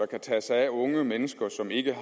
kan tage sig af unge mennesker som ikke